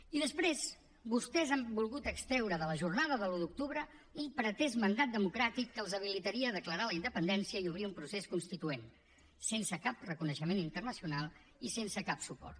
i després vostès han volgut extreure de la jornada de l’un d’octubre un pretès mandat democràtic que els habilitaria a declarar la independència i obrir un procés constituent sense cap reconeixement internacional i sense cap suport